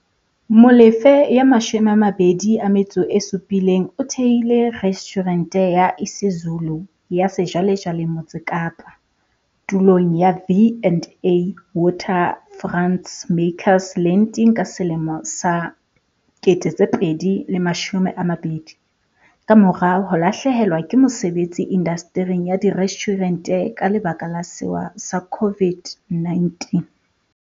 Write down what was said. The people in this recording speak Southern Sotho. Molefe, 27, o thehile restjhurente ya isiZulu ya sejwalejwale Motse Kapa, tulong ya V and A Waterfront's Makers Landing ka selemo sa 2020, kamora ho lahlehelwa ke mosebetsi indastering ya direstjhurente ka lebaka la sewa sa COVID-19.